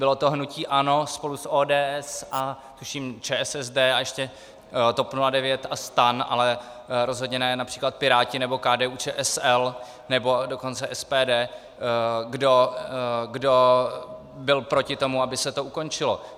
Bylo to hnutí ANO spolu s ODS a tuším ČSSD a ještě TOP 09 a STAN, ale rozhodně ne například Piráti nebo KDU-ČSL, nebo dokonce SPD, kdo byl proti tomu, aby se to ukončilo.